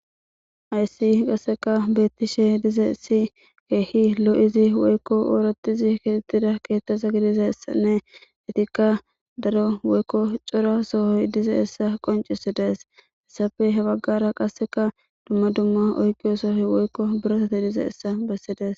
Hayssi qasseka beettishe dize si keehi lo'idi woykko ooratidi keeettida keettaza gidizayssanne etikka daro woykko cora sohoy dizayssa qoncisidees. Hessappe he baggara qasseka dumma dumma oyqiyo sohoy woykko birotati dizassa bessidees